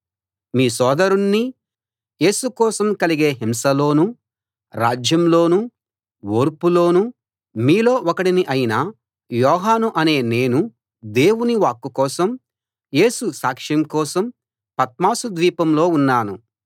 మీ సోదరుణ్నీ యేసు కోసం కలిగే హింసలోనూ రాజ్యంలోనూ ఓర్పులోనూ మీలో ఒకడినీ అయిన యోహాను అనే నేను దేవుని వాక్కు కోసం యేసు సాక్ష్యం కోసం పత్మసు ద్వీపంలో ఉన్నాను